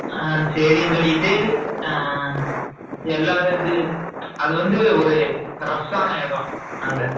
ஆஹ் சரினு சொல்லிட்டு எல்லாருது அதுவந்து ஒரு rough இடம் அங்க